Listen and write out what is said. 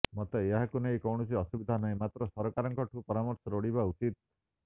ମୋତେ ଏହାକୁ ନେଇ କୌଣସି ଅସୁବିଧା ନାହିଁ ମାତ୍ର ସରକାରଙ୍କଠୁ ପରାମର୍ଶ ଲୋଡିବା ଉଚିତ୍